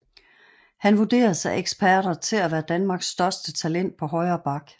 Han vurderes af eksperter til at være Danmarks største talent på højre back